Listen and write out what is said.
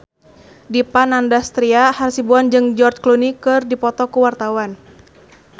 Dipa Nandastyra Hasibuan jeung George Clooney keur dipoto ku wartawan